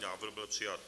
Návrh byl přijat.